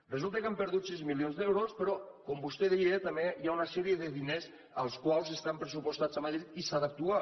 resulta que han perdut sis milions d’euros però com vostè deia també hi ha una sèrie de diners que estan pressupostats a madrid i s’ha d’actuar